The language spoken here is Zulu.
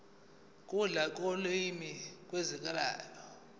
lula kolimi kuzokwenzeka